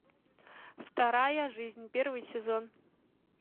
вторая жизнь первый сезон